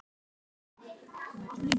Upphaf hans er þannig